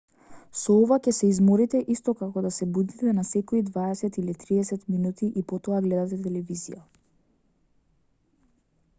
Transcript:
со ова ќе се изморите исто како да се будите на секои дваесет или триесет минути и потоа гледате телевизија